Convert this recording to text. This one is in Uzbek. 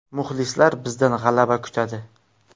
Muxlislar bizdan g‘alaba kutadi.